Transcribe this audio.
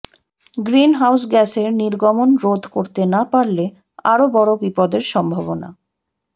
green how গ্যাসের নির্গমন রোধ করতে না পারলে আরও বড় বিপদের সম্ভাবনা